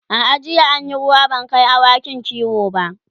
a'a jiya an Yi ruwa ban Kai awakin kiwo ba